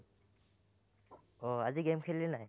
আহ আজি game খেলিলি নাই?